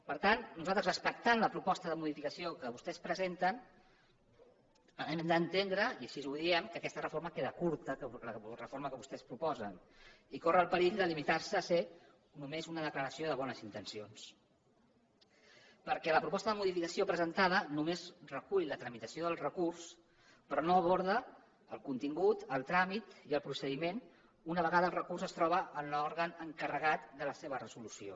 per tant nosaltres respectant la proposta de modificació que vostès presenten hem d’entendre i així ho diem que aquesta reforma queda curta la reforma que vostès proposen i que corre el perill de limitar se a ser només una declaració de bones intencions perquè la proposta de modificació presentada només recull la tramitació del recurs però no aborda el contingut el tràmit i el procediment una vegada el recurs es troba en l’òrgan encarregat de la seva resolució